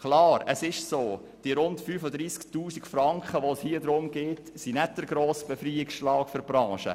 Natürlich ist der Betrag von rund 35 000 Franken, um den es hier geht, nicht der grosse Befreiungsschlag für die Branche.